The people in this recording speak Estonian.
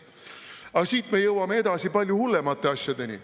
Aga siit edasi me jõuame palju hullemate asjadeni.